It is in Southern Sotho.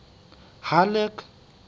halleck